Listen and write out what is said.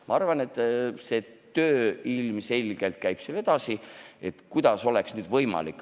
Ma arvan, et töö selle kallal ilmselgelt käib edasi – et kuidas oleks võimalik.